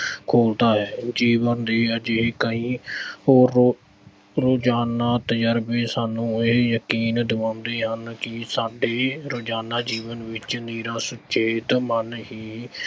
ਖੁੱਲਦਾ ਹੈ। ਜੀਵਨ ਦੇ ਅਜਿਹੇ ਕਈ ਓਹੋ ਰੋਜਾਨਾ ਤਜ਼ਰਬੇ ਸਾਨੂੰ ਇਹ ਯਕੀਨ ਦਵਾਉਂਦੇ ਹਨ ਕਿ ਸਾਡੇ ਰੋਜ਼ਾਨਾ ਜੀਵਨ ਵਿੱਚ ਨਿਰਾ ਸੁਚੇਤ ਮਨ ਹੀ